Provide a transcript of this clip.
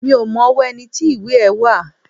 Mi ò mọ ọwọ́ ẹni tí ìwé ẹ́ wà